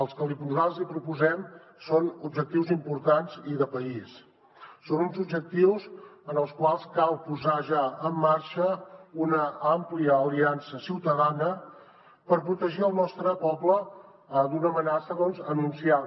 els que nosaltres li proposem són objectius importants i de país són uns objectius en els quals cal posar ja en marxa una àmplia aliança ciutadana per protegir el nostre poble d’una amenaça anunciada